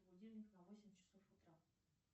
будильник на восемь часов утра